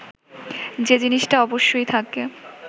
যে জিনিসটা অবশ্যই থাকে